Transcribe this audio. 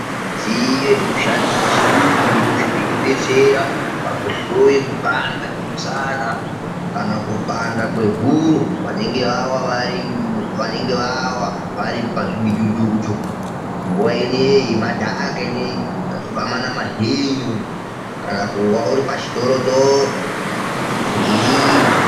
Midziyo yechirungu inodetsera kuhloya kwekupanda kwemushana kana kupanda kwehuro ,vanenge vawa vari pamidhudhudhu nguva ino yemadhaka kana kuwa uri pachitorotoro weirima.